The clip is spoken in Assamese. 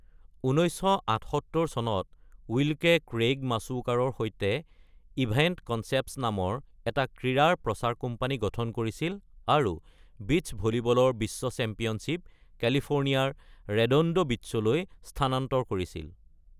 ১৯৭৮ চনত উইল্কে ক্ৰেইগ মাচুওকাৰ সৈতে ইভেন্ট কনচেপ্তছ নামৰ এটা ক্ৰীড়াৰ প্ৰচাৰ কোম্পানী গঠন কৰিছিল আৰু বীচ্চ ভলিবলৰ বিশ্ব চেম্পিয়নশ্বিপ কেলিফোৰ্নিয়াৰ ৰেডন্ডো বীচ্চলৈ স্থানান্তৰ কৰিছিল।